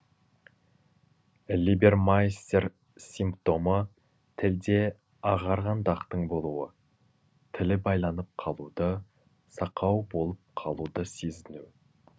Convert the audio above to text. либермайстер симптомы тілде ағарған дақтың болуы тілі байланып қалуды сақау болып қалуды сезіну